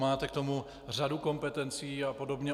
Máte k tomu řadu kompetencí a podobně.